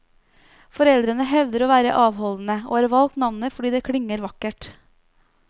Foreldrene hevder å være avholdende, og har valgt navnet fordi det klinger vakkert.